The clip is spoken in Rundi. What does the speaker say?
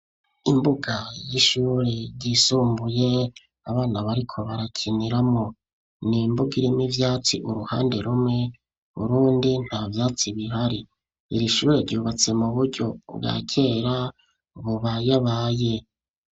Imbuga y'ishure ryisumbuye abana bariko barakiniramwo nimbuga irimwo ivyatsi uruhande rumwe urundi nta vyatsi bihari iri shure ryubatse mu buryo bwa kera bubayabaye.